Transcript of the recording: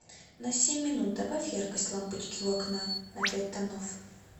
на семь минут добавь яркость лампочки у окна на пять тонов